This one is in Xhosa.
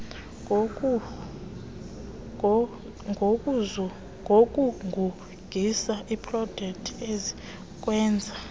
ngokugugisa iiproteni ezikwenza